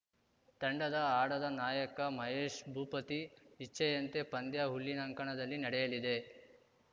ತಂಡದ ಆಡದ ನಾಯಕ ಮಹೇಶ್‌ ಭೂಪತಿ ಇಚ್ಛೆಯಂತೆ ಪಂದ್ಯ ಹುಲ್ಲಿನಂಕಣದಲ್ಲಿ ನಡೆಯಲಿದೆ